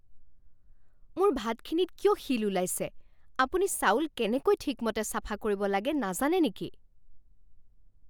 মোৰ ভাতখিনিত কিয় শিল ওলাইছে? আপুনি চাউল কেনেকৈ ঠিকমতে চাফা কৰিব লাগে নাজানে নেকি?